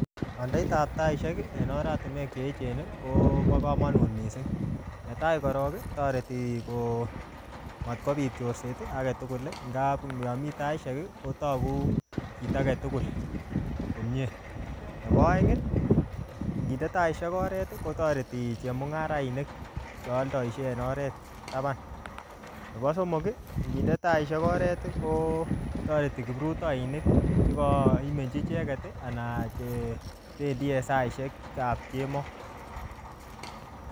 Kandait ap taisiek, en oratinwek che echen kobo komonut missing. Ne tai korok, kotoreti ko matkobit chorset, age tugul. Nga yami taisisek, kotogu kit age tugul komyee. Nebo aeng, nginde taisiek oret, kotoreti chemung'arainik chealdoshei en oret taban. Nebo somok, nginde taisiek oret, kotoreti kiprutoinik chekaimenchi icheket, anan chebendi en saisiek ap kemoi